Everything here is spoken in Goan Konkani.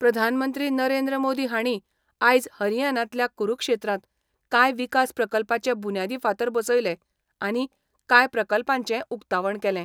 प्रधानमंत्री नरेंद्र मोदी हांणी आयज हरियानांतल्या कुरूक्षेत्रांत कांय विकास प्रकल्पाचें बुन्यादी फातर बसयले आनी कांय प्रकल्पांचें उकतावण केलें.